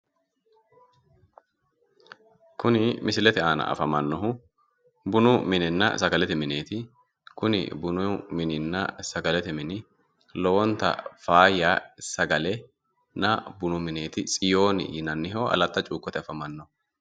kuni misilete aana afamannohu bunu minenna sagalete mineeti tsiyooni yinanniho aletta cuukkote afamannoho.